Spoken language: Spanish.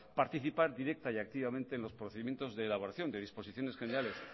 participar directa y activamente en los procedimientos de elaboración de disposiciones generales